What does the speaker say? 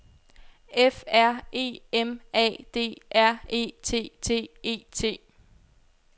F R E M A D R E T T E T